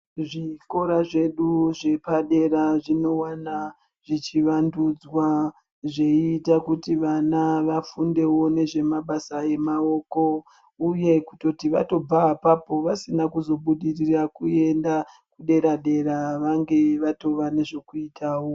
Zvikora zvedu zvepadera zvinowana zvichivandudzwa zveiita kuti vana vafundewo nezvemabasa emaoko, uye kutototi vatobva apapo vasina kuzobudirira kuenda dera-dera vange vatova nezvekuitawo.